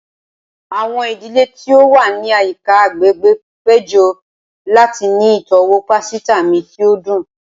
Awọn idile ti o wa ni ayika agbegbe pejọ lati ni itọwo pasita mi ti o dun.